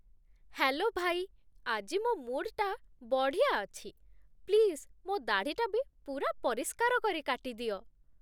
Hello, ଭାଇ । ଆଜି ମୋ' ମୁଡ୍ଟା ବଢ଼ିଆ ଅଛି । ପ୍ଲିଜ୍ ମୋ' ଦାଢ଼ିଟା ବି ପୂରା ପରିଷ୍କାର କରି କାଟିଦିଅ ।